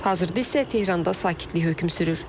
Hazırda isə Tehranda sakitlik hökm sürür.